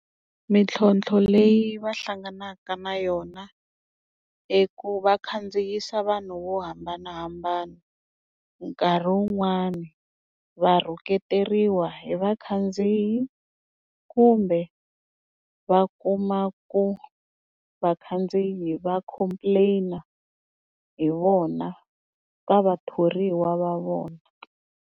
Mintlhontlho leyi va hlanganaka na yona hi ku va khandziyisa vanhu vo hambanahambana nkarhi wun'wani va rhuketeriwa hi vakhandziyi kumbe va kuma ku vakhandziyi va complain-a hi vona ka vathoriwa va vona.